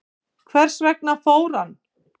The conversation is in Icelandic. Hvers vegna fór hann?